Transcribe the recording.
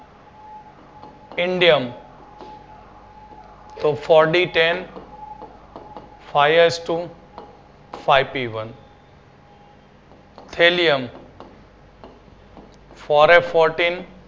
indium Four D Ten S S Two SP one thelium for A fourteen